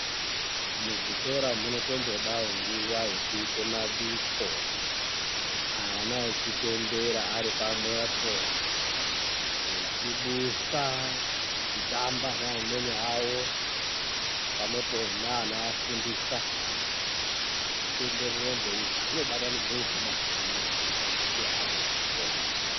Muzvikora munotombodawo nguwa yekuite yemabiko ana achipembera aripamwepo echibusa echitamba neamweni awo, pamwepo neanoafundisa zvichitoenderere mberi izvi zvino zvinobatanidze ukama hwakanaka pakati peana echikora.